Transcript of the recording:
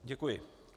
Děkuji.